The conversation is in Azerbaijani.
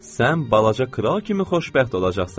Sən balaca kral kimi xoşbəxt olacaqsan.